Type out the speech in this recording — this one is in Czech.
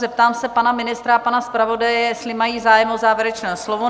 Zeptám se pana ministra a pana zpravodaje, jestli mají zájem o závěrečné slovo?